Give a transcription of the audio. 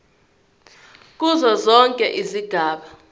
kuzo zonke izigaba